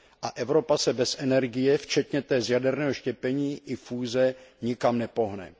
A Evropa se bez energie, včetně té z jaderného štěpení i fúze, nikam nepohne.